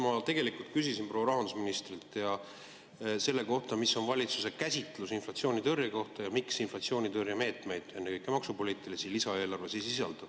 Ma tegelikult küsisin proua rahandusministrilt selle kohta, mis on valitsuse käsitlus inflatsioonitõrje kohta ja miks inflatsioonitõrjemeetmeid, ennekõike maksupoliitilisi, lisaeelarves ei sisaldu.